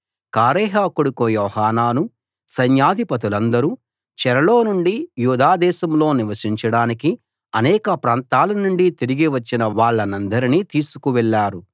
కారేహ కొడుకు యోహానానూ సైన్యాధిపతులందరూ చెరలో నుండి యూదా దేశంలో నివసించడానికి అనేక ప్రాంతాల నుండి తిరిగి వచ్చిన వాళ్ళనందరినీ తీసుకు వెళ్ళారు